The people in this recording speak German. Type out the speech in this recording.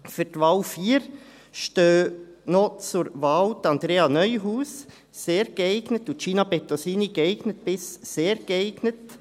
Für die Wahl 4 stehen noch zur Wahl: Andrea Neuhaus, sehr geeignet, und Gina Bettosini, geeignet bis sehr geeignet.